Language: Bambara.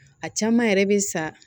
A caman yɛrɛ bɛ sa